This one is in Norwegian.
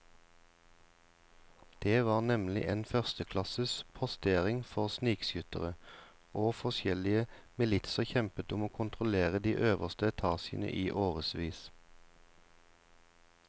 Det var nemlig en førsteklasses postering for snikskyttere, og forskjellige militser kjempet om å kontrollere de øverste etasjene i årevis.